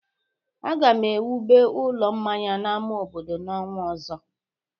Aga m ewube ụlọ mmanya n'ama obodo n'ọnwa ọzọ.